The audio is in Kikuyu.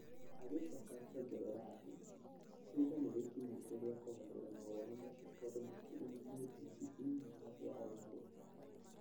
Agicoka akĩongerera atĩ ihinda nĩ rĩkinyĩte rĩa kũgarũrĩra mawoni macio tondũ matirĩ na mũthingi thĩinĩ wa thĩ ya ũmũthĩ.